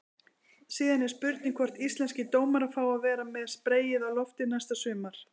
Síðan er spurning hvort íslenskir dómarar fái að vera með spreyið á lofti næsta sumar?